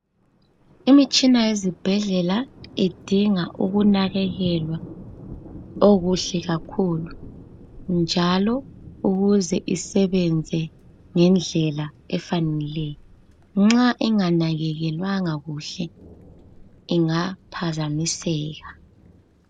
Imitshina yezibhedlela idinga ukunakekelwa kuhle kakhulu njalo ukuze usebenze ngendlela efaneleyo, nxa inga nakekelwanga kuhle ingaphazamiseka.